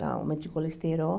Dá aumento de colesterol.